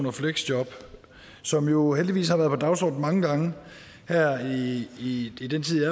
og fleksjob som jo heldigvis har været på dagsordenen mange gange her i i den tid